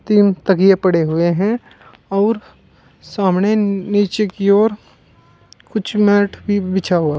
तीन तकिए पड़े हुए हैं आऊर सामने नीचे की ओर कुछ मैट भी बिछा हुआ--